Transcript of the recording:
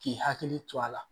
K'i hakili to a la